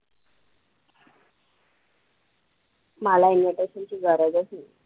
मला invitation ची गरजचं नाही.